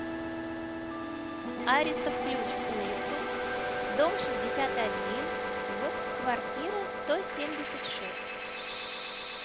аристов ключ улицу дом шестьдесят один в квартира сто семьдесят шесть